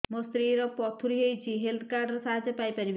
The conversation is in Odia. ମୋ ସ୍ତ୍ରୀ ର ପଥୁରୀ ହେଇଚି ହେଲ୍ଥ କାର୍ଡ ର ସାହାଯ୍ୟ ପାଇପାରିବି